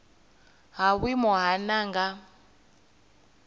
ha vhuimo ha nha nga